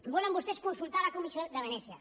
volen vostès consultar la comissió de venècia